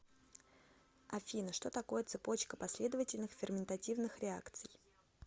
афина что такое цепочка последовательных ферментативных реакций